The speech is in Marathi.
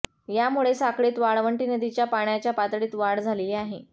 यामुळे साखळीत वाळवंटी नदीच्या पाण्याच्या पातळीत वाढ झालेली आहे